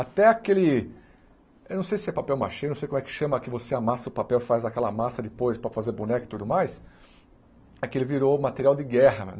Até aquele... Eu não sei se é papel machê, não sei como é que chama, que você amassa o papel e faz aquela massa depois para fazer boneco e tudo mais, aquele virou material de guerra